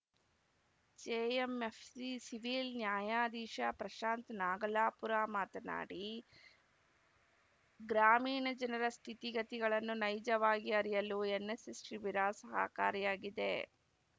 JMFC civil ನ್ಯಾಯಾಧೀಶ ಪ್ರಶಾಂತ್‌ ನಾಗಲಾಪುರ ಮಾತನಾಡಿ ಗ್ರಾಮೀಣ ಜನರ ಸ್ಥಿತಿಗತಿಗಳನ್ನು ನೈಜವಾಗಿ ಅರಿಯಲು ಎನ್‌ಎಸ್‌ಎಸ್‌ ಶಿಬಿರ ಸಹಕಾರಿಯಾಗಿದೆ